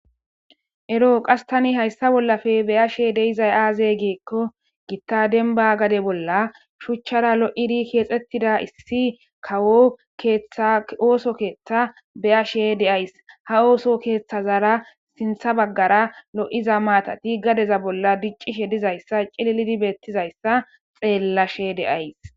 Eroo qas tani hayssa bollafe beya she deizay aaze geekko gitta denba gade bolla shuchchara lo7iri keexxettida issi kawo keeththa ooso keeththa beyashe deays ha ooso keeththazara sintha baggara lo7iza maatati gadeza bolla diccishe dizayssa cililidi beettizayssa xeellashe deays.